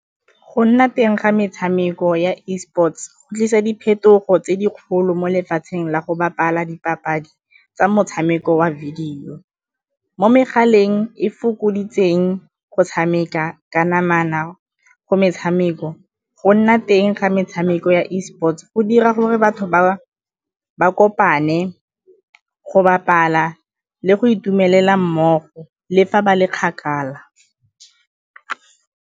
Go nna teng ga metshameko ya Esports go tlisa diphetogo tse di kgolo mo lefatsheng la go bapala dipapadi tsa motshameko wa video. Mo megaleng e fokoditseng go tshameka ka namana go metshameko, go nna teng ga metshameko ya Esports go dira gore batho ba kopane go bapala le go itumelela mmogo le fa ba le kgakala.